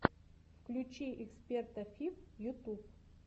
включи эксперта фиф ютуб